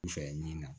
I fɛ min na